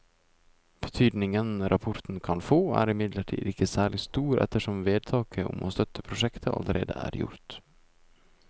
Betydningen rapporten kan få er imidlertid ikke særlig stor ettersom vedtaket om å støtte prosjektet allerede er gjort.